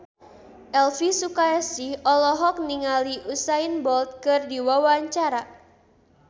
Elvi Sukaesih olohok ningali Usain Bolt keur diwawancara